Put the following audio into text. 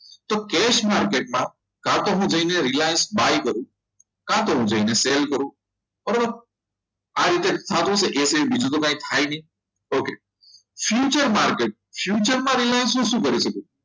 તો cash market માં કાં તો હું જઈને Reliance buy કરું કા તો હું જઈને still કરું પરંતુ આ રીતે જ થાય છે બીજી તો કંઈ થાય નહીં okay future market future માં રિલાયન્સ નું શું કરી શકીએ